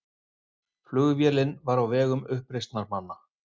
Flugvélin var á vegum uppreisnarmanna